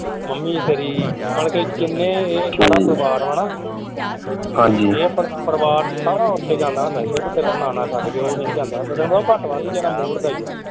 Mummy ਤੇਰੀ ਬਲਕਿ ਜਿਨ੍ਹੇ ਇਹ ਸਾਰਾ ਪਰਿਵਾਰ ਵਾ ਨਾ ਇਹ ਸਿਰਫ਼ ਪਰਿਵਾਰ ਸਾਰਾ ਓਥੇ ਜਾਂਦਾ ਹੁੰਦਾ ਸੀ ਸਿਰਫ ਤੇਰਾ ਨਾਨਾ ਛੱਡ ਕੇ ਉਹ ਨਹੀਂ ਜਾਂਦਾ ਹੁੰਦਾ ਸੀ ਘੱਟ ਵੱਧ ਹੀ ਜ਼ਿਆਦਾ mood ਦਾ ਹੀ ਆ।